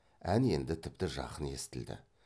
ән енді тіпті жақын естілді